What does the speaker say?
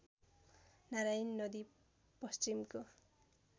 नारायणी नदी पश्चिमको